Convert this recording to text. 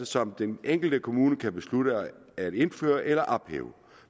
som den enkelte kommune kan beslutte at indføre eller ophæve